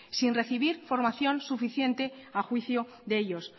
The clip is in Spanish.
sin recibir formación suficiente a juicio de ellos